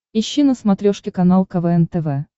ищи на смотрешке канал квн тв